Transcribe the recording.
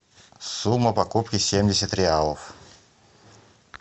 сумма покупки семьдесят реалов